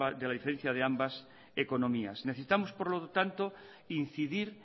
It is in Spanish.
de la diferencia de ambas economías necesitamos por lo tanto incidir